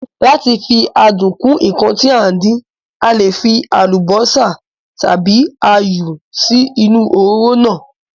Lá ti fi adùn kún ǹkan tí à ń dín, a le fí àlùbósà tàbí áyù sí inú òróró náà